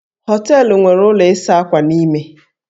Hóteélụ̀ nwere ụlọ ịsa ákwà n'ime